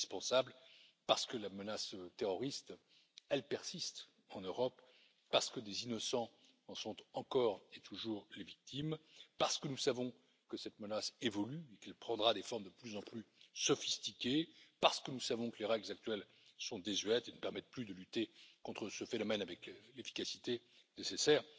C'est indispensable parce que la menace terroriste persiste en Europe, parce que des innocents en sont encore et toujours les victimes, parce que nous savons que cette menace évolue et qu'elle prendra des formes de plus en plus sophistiquées, parce que nous savons que les règles actuelles sont désuètes et ne permettent plus de lutter contre ce phénomène avec l'efficacité nécessaire.